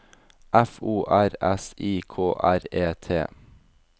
F O R S I K R E T